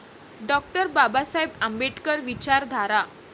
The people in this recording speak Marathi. डॉ. बाबासाहेब आंबेडकर विचारधारा